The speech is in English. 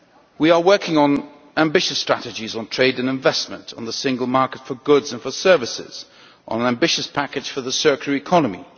We are working on ambitious strategies on trade and investment, on the single market for goods and services, on an ambitious package for the circular economy.